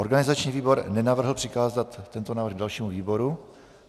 Organizační výbor nenavrhl přikázat tento návrh dalšímu výboru.